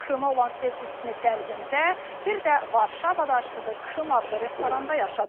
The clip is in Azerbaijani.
Krıma olan sevgisini qəlbində, bir də Varşavada açdığı Krım adlı restoranda yaşadılır.